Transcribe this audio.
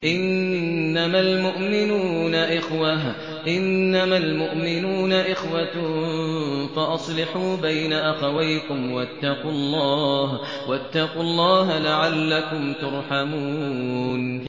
إِنَّمَا الْمُؤْمِنُونَ إِخْوَةٌ فَأَصْلِحُوا بَيْنَ أَخَوَيْكُمْ ۚ وَاتَّقُوا اللَّهَ لَعَلَّكُمْ تُرْحَمُونَ